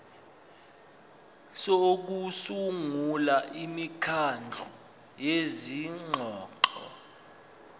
sokusungula imikhandlu yezingxoxo